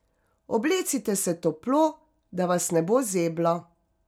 Oblecite se toplo, da vas ne bo zeblo.